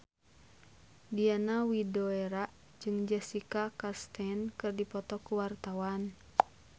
Diana Widoera jeung Jessica Chastain keur dipoto ku wartawan